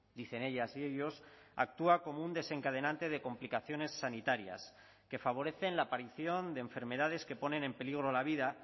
dicen ellas y ellos actúa como un desencadenante de complicaciones sanitarias que favorecen la aparición de enfermedades que ponen en peligro la vida